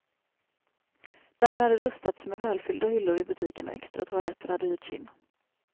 Där hade rustats med välfyllda hyllor i butiken och extra toaletter hade hyrts in.